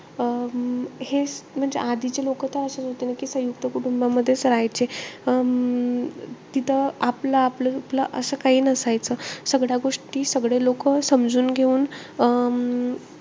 अं हे म्हणजे आधीचे लोक त अशेचं होते. म्हणजे सयुंक्त कुटुंबामध्येच राहायचे. अं तिथं आपलं- आपलं असं काही नसायचं. सगळ्या गोष्टी सगळे लोक समजून घेऊन,